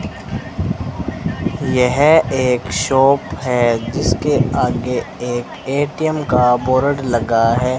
यह एक शॉप है जिसके आगे एक ए_टी_एम का बोर्ड लगा है।